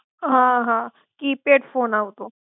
હ! હ! Keypad phone આવતો.